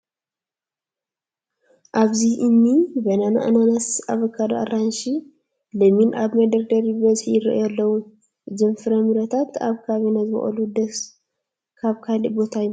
ኣብዚ እኒ በናና፣ ኣናናስ፣ ኣቮካዶ፣ አራንሺ፣ ለሚን ኣብ መደርደሪ ብብዝሒ ይርአዩ ኣለዉ፡፡ እዞም ፍራ ምረታት ኣብ ከባቢና ይበቑሉ ዶስ ካብ ካልእ ቦታ ይመፁ?